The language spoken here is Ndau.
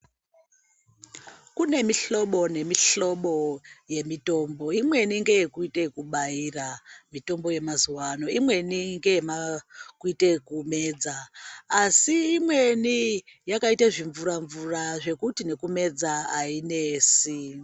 Kune mihlobo nemihlobo yemitombo imweni ngeyekuite yekubaira, mitombo yemazuwa ano, imweni ngeekuite zvekumedza, asi imweni yakaite zvimvura-mvura zvekuti nekumedza hainesi.